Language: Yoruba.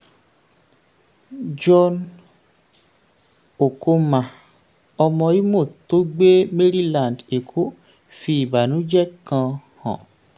john ochonma ọmọ imo tó gbé maryland èkó fi ìbànújẹ́ kan hàn.